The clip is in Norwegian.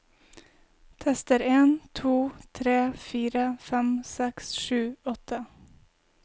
Tester en to tre fire fem seks sju åtte